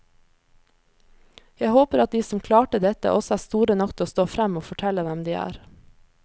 Jeg håper at de som klarte dette, også er store nok til å stå frem og fortelle hvem de er.